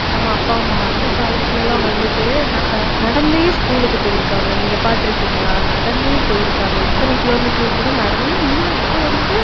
நம்ம அப்பா, அம்மா அந்தக் காலத்துல எல்லாம் வந்துட்டு ந~ நடந்தே school க்கு போயிருக்காங்க. நீங்க பாத்திருக்கீங்களா நடந்தே போயிருக்காங்க. எத்தனை kilometre கூட நடந்தே ஏன்னா முன்னா~ இப்ப வந்துட்டு